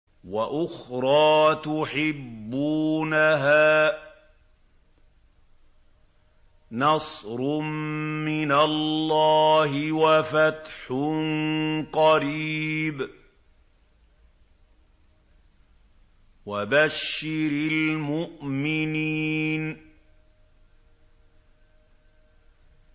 وَأُخْرَىٰ تُحِبُّونَهَا ۖ نَصْرٌ مِّنَ اللَّهِ وَفَتْحٌ قَرِيبٌ ۗ وَبَشِّرِ الْمُؤْمِنِينَ